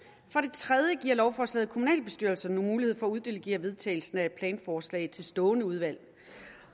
tredje giver lovforslaget kommunalbestyrelserne mulighed for at uddelegere vedtagelsen af et planforslag til stående udvalg